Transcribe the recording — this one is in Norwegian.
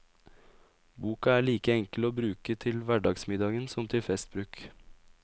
Boka er like enkel å bruke til hverdagsmiddagen som til festbruk.